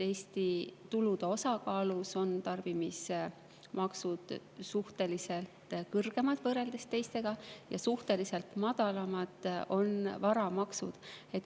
Eesti tulude osakaalus on tarbimismaksud suhteliselt kõrgemad võrreldes teiste riikidega ja suhteliselt madalamad on varamaksud.